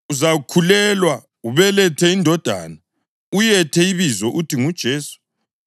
Uzakhulelwa ubelethe indodana, uyethe ibizo uthi nguJesu.